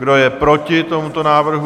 Kdo je proti tomuto návrhu?